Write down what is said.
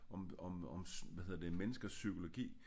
Om om hvad hedder det menneskers psykologi